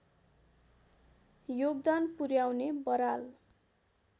योगदान पुर्‍याउने बराल